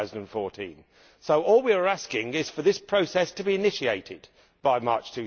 2014. All we are asking is for this process to be initiated by March